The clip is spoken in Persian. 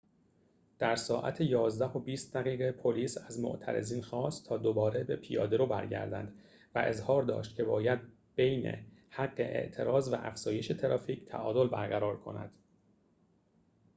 در ساعت ۱۱:۲۰ پلیس از معترضین خواست تا دوباره به پیاده‌رو برگردند و اظهار داشت که باید ببین حق اعتراض و افزایش ترافیک تعادل برقرار کند